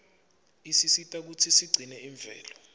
isisita kutsi sigcine imvelo